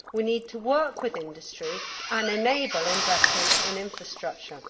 We need to work with industry and enable investment in infrastructure.